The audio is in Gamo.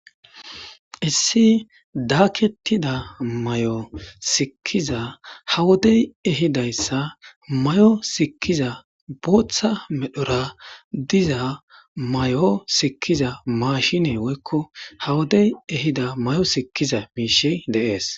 Issi daaketida may7o sikkiza hawodey ehidayssa may7o sikkiza booththa medhora diza may7o sikkiza maashinee woykko hawodey ehida may7o sikiza miishe deees.